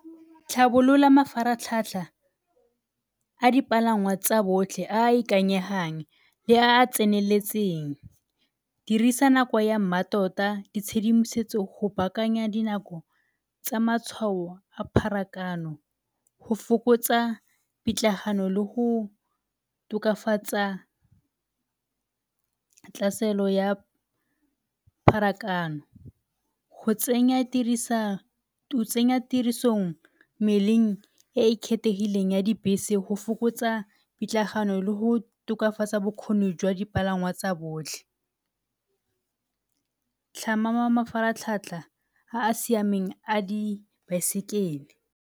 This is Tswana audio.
Tlhabolola mafaratlhatlha a dipalangwa tsa botlhe a a ikanyegang le a a tseneletseng dirisa nako ya mmatota, ditshedimosetso go baakanya dinako tsa matshwao a pharakano go fokotsa pitlagano le go tokafatsa ya pharakano. Go tsenya tirisong mmeleng e e kgethegileng ya dibese go fokotsa pitlagano le go tokafatsa bokgoni jwa dipalangwa tsa botlhe. Tlhama mafaratlhatlha a a siameng a dibaesekele.